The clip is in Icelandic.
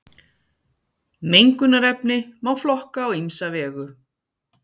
Mengunarefni má flokka á ýmsa vegu.